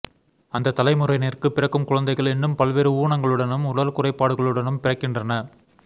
அந்தத்தலை முறையினர்க்குப் பிறக்கும் குழந்தைகள் இன்றும் பல்வேறு ஊனங்களுடனும் உடல் குறைபாடு களுடனும் பிறக்கின்றன